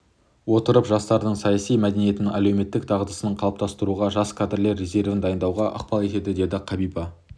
отырып жастардың саяси мәдениетін әлеуметтік дағдысын қалыптастыруға жас кадрлар резервін дайындауға ықпал етеді деді қабиба